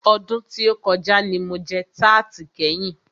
Ọdún tí o kọjá ní mo jẹ tarti kẹ́yin.